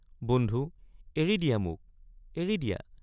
বন্ধু এৰি দিয়া মোক এৰি দিয়া।